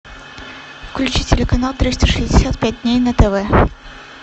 включи телеканал триста шестьдесят пять дней на тв